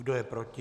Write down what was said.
Kdo je proti?